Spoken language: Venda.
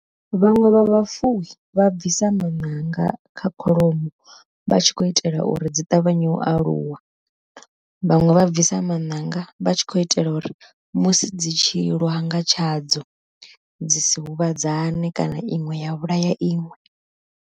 Vhaṅwe vha vhafuwi vha bvisa maṋanga kha kholomo vha tshi khou itela uri dzi ṱavhanye u aluwa, vhaṅwe vha bvisa maṋanga vha tshi khou itela uri musi dzi tshi lwa nga tshadzo dzi si huvhadzane kana iṅwe ya vhulaya iṅwe.